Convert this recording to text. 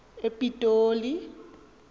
epitoli